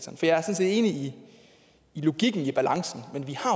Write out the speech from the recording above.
enig i logikken i balancen men vi har